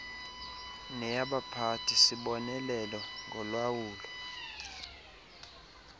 neyabaphathi sibonelelo ngolawulo